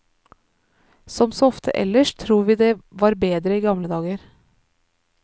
Som så ofte ellers tror vi det var bedre i gamle dager.